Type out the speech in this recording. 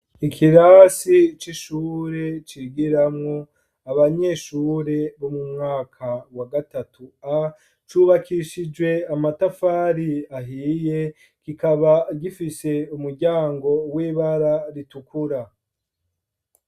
Ikirasi c'ishure, cigiramwo abanyeshure bo mu mwaka wa gatatu A, cubakishije amatafari ahiye, kikaba gifise umuryango w'ibara ritukura.